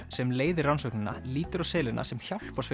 sem leiðir rannsóknina lítur á selina sem